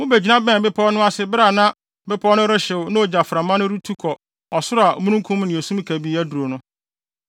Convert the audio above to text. Mubegyina bɛnee bepɔw no ase bere a na bepɔw no rehyew na ogyaframa no retu kɔ ɔsoro a omununkum ne esum kabii aduru no.